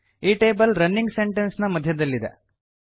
ಈ table running sentence ನ ಮಧ್ಯದಲ್ಲಿದೆ